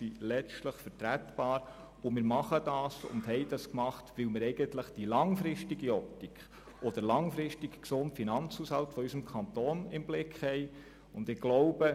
Wir haben das gemacht, weil wir letztlich die langfristige Optik und den langfristigen gesunden Finanzhaushalt unseres Kantons im Blick haben.